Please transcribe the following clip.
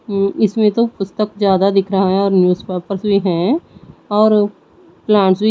उम्म इसमें तो पुस्तक ज्यादा दिख रहा है और न्यूजपेपर्स भी हैं और प्लांट्स भी--